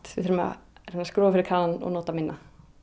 við þurfum að skrúfa fyrir kranann og nota minna